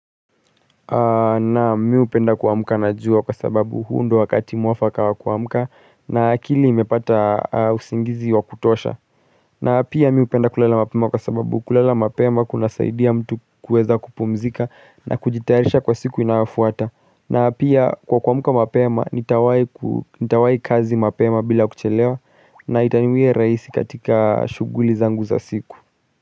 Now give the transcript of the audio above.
Naam mimi hupenda kuamka na jua kwa sababu huu ndo wakati mwafaka wa kuamka na akili imepata usingizi wa kutosha na pia mimi hupenda kulala mapema kwa sababu kulala mapema kunasaidia mtu kuweza kupumzika na kujitayarisha kwa siku inayofuata na pia kuamka mapema nitawai kazi mapema bila kuchelewa na itaniwia rahisi katika shughuli zangu za siku.